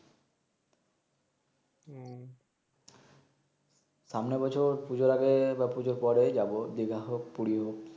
সামনে বছর পুজোর আগে বা পূজোর পরে যাবো দিঘা হক পুরি হক